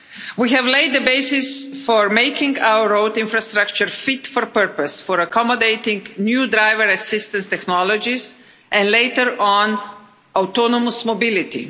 We have laid the basis for making our road infrastructure fit for purpose, for accommodating new driver assisted technologies and, later on, for autonomous mobility.